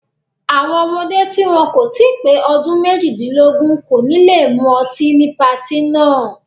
Àwọn ọmọdé tí wọn kò tí pé ọdún méjìdínlógún kò ní le mú ọtí ní patí náà.